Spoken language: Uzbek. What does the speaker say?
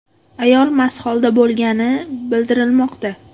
Ayol mast holda bo‘lgani bildirilmoqda.